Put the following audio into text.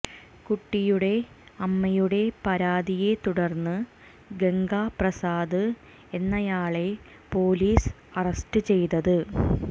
കുട്ടിയുടെ അമ്മയുടെ പരാതിയെ തുടർന്ന് ഗംഗാ പ്രസാദ് എന്നയാളെ പോലീസ് അറസ്റ്റ് ചെയ്തത്